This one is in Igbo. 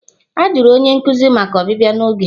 A jụrụ onye nkuzi maka ọbịbịa n'oge.